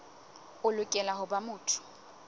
o lokela ho ba motho